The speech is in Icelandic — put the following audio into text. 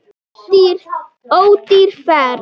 Ódýr ferð.